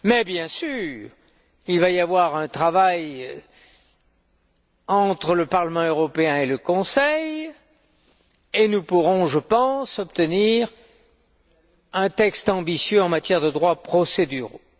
Bien sûr, il va y avoir un travail entre le Parlement européen et le Conseil et nous pourrons, je pense, obtenir un texte ambitieux en matière de droits procéduraux.